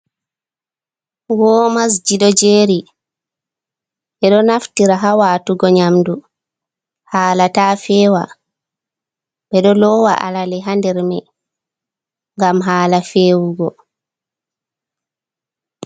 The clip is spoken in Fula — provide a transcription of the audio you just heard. Womas ji ɗo jeri, ɓeɗo naftira ha watugo nyamdu hala ta fewa, ɓe ɗo lowa alale ha nder mai ngam hala fewugo.